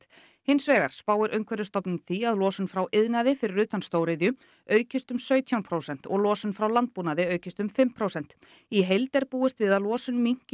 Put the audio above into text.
hins vegar spáir Umhverfisstofnun því að losun frá iðnaði fyrir utan stóriðju aukist um sautján prósent og losun frá landbúnaði aukist um fimm prósent í heild er búist við að losun minnki